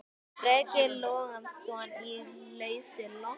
Breki Logason: Í lausu loft?